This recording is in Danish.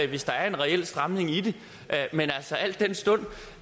hvis der er en reel stramning i det men altså al den stund